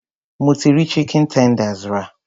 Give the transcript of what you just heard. Mo ti rí chicken tenders rà.